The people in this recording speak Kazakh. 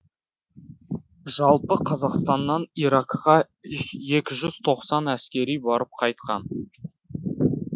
жалпы қазақстаннан иракқа екі жүз тоқсан әскери барып қайтқан